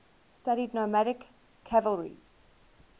studied nomadic cavalry